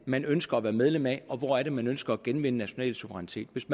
man ønsker at være medlem af og hvor det er man ønsker at genvinde national suverænitet hvis